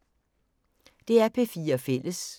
DR P4 Fælles